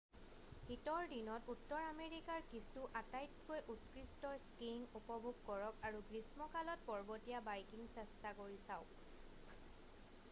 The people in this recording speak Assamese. শীতৰ দিনত উত্তৰ আমেৰিকাৰ কিছু আটাইতকৈ উৎকৃষ্ট স্কীইং উপভোগ কৰক আৰু গ্ৰীষ্মকালত পৰ্বতীয়া বাইকিং চেষ্টা কৰি চাওক